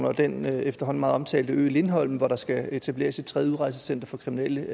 og den efterhånden meget omtalte ø lindholm hvor der skal etableres et tredje udrejsecenter for kriminelle